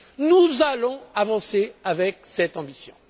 Nous allons avancer avec cette ambition.